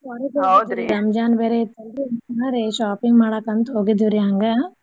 ಹೊರಗ್ ಹೋಗಿದ್ವಿರೀ Ramzan ಬೇರೆ ಇತ್ತಲ್ರಿ shopping ಮಾಡಾಕ್ ಅಂತ್ ಹೋಗಿದ್ವಿ ರೀ ಹಂಗ.